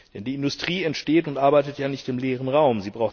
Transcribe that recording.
Denn die Industrie entsteht und arbeitet ja nicht im leeren Raum.